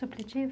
Supletivo?